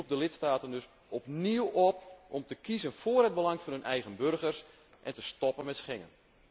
Ik roep de lidstaten dus opnieuw op om te kiezen vóór het belang van hun eigen burgers en te stoppen met Schengen.